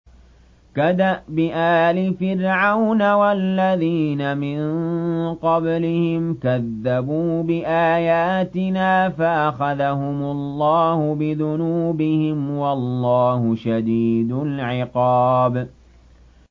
كَدَأْبِ آلِ فِرْعَوْنَ وَالَّذِينَ مِن قَبْلِهِمْ ۚ كَذَّبُوا بِآيَاتِنَا فَأَخَذَهُمُ اللَّهُ بِذُنُوبِهِمْ ۗ وَاللَّهُ شَدِيدُ الْعِقَابِ